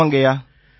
ஆமாங்கய்யா